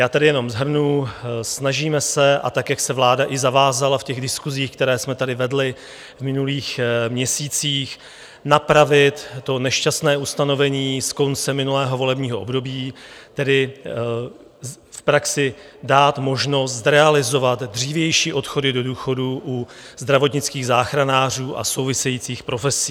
Já tady jenom shrnu, snažíme se, a tak jak se vláda i zavázala v těch diskusích, které jsme tady vedli v minulých měsících, napravit to nešťastné ustanovení z konce minulého volebního období, tedy v praxi dát možnost zrealizovat dřívější odchody do důchodu u zdravotnických záchranářů a souvisejících profesí.